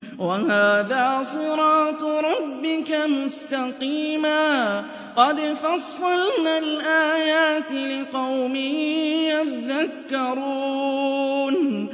وَهَٰذَا صِرَاطُ رَبِّكَ مُسْتَقِيمًا ۗ قَدْ فَصَّلْنَا الْآيَاتِ لِقَوْمٍ يَذَّكَّرُونَ